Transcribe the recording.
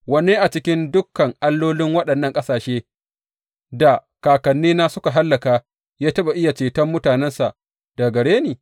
Wanne a cikin dukan allolin waɗannan ƙasashe da kakannina suka hallaka ya taɓa iya ceton mutanensa daga gare ni?